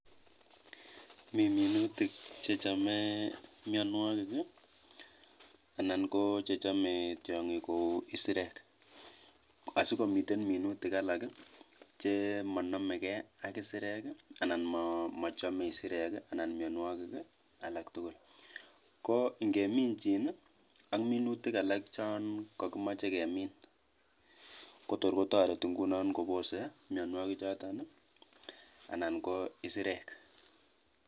Mi minutik chechome mionwogik ii anan koo chechome tiong'ik kou isirek asikomiten minutik alak chemonome kee ak isirek anan mochome isirek ii anan mionwogik alak tugul koo ingeminjin ak minutik alak chon kokimoche kemin kotor kotoreti inguno kobose mionwogichoton anan koo isirek.